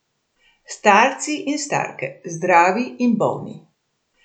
Starci in starke, zdravi in bolni.